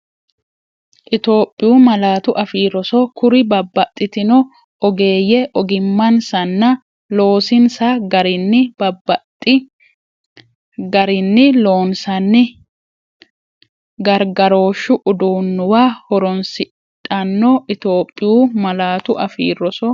Itophiyu Malaatu Afii Roso Kuri babbaxxitino ogeeyye ogimmansanna loosinsa garinni babbaxxi- garinni loonsanni gargarooshshu uduunnuwa horoonsidhanno Itophiyu Malaatu Afii Roso.